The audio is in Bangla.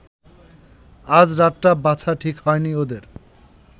আজ রাতটা বাছা ঠিক হয়নি ওদের